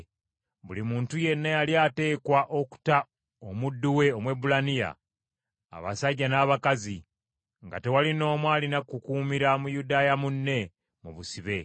Buli muntu yenna yali ateekwa okuta omuddu we Omwebbulaniya, abasajja n’abakazi; nga tewali n’omu alina kukuumira Muyudaaya munne mu busibe.